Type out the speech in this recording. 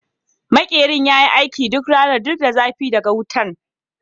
Makerin ya yi aiki duk ranan duk da zafi daga wutan.